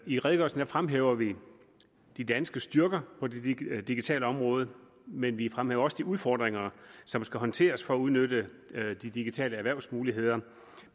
i redegørelsen fremhæver vi de danske styrker på det digitale område men vi fremhæver også de udfordringer som skal håndteres for at udnytte de digitale erhvervsmuligheder